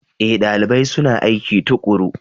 Ee, dalibai suna aiki tuƙuru.